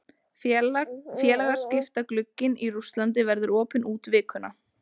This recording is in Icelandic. Félagaskiptaglugginn í Rússlandi verður opinn út vikuna.